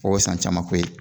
O ye san camanko ye